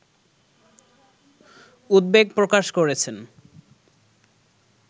উদ্বেগ প্রকাশ করেছেন